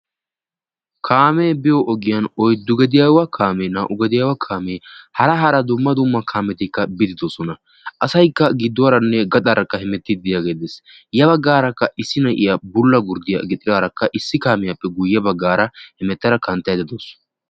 kaame biyo ogiyaan oyddu gediyawa kaamee, naa''u gediyawa kaamee, hara hara dumma dumma kaametikka biide doosona. asaykka gidduwaranne gaxaarakka hemettide diyaage dees. ya baggaarakka issi na'iya issi bulla gurddiya gixxidaarakka issi kaamiyappe guyyee baggaara hemettada knattaydda dawus.